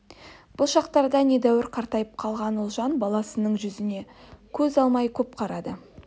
бұл шақтарда недәуір қартайып қалған ұлжан баласының жүзінен көз алмай көп қарады